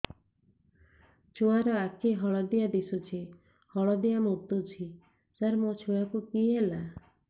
ଛୁଆ ର ଆଖି ହଳଦିଆ ଦିଶୁଛି ହଳଦିଆ ମୁତୁଛି ସାର ମୋ ଛୁଆକୁ କି ହେଲା